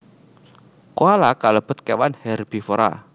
Koala kalebet kewan hèrbivora